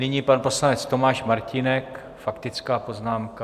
Nyní pan poslanec Tomáš Martínek, faktická poznámka.